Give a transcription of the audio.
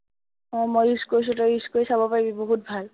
আহ মই use কৰিছো, তই use কৰি চাব পাৰিবি বহু ভাল।